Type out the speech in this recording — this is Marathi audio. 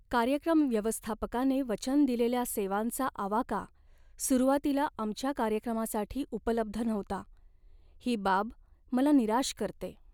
कार्यक्रम व्यवस्थापकाने वचन दिलेल्या सेवांचा आवाका सुरुवातीला आमच्या कार्यक्रमासाठी उपलब्ध नव्हता, ही बाब मला निराश करते.